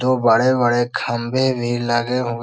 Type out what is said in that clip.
दो बड़े-बड़े खम्भे भी लगे हुए --